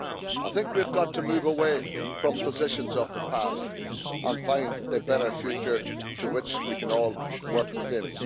I think we've got to move away from positions of the past and find a better future to which we can all work within.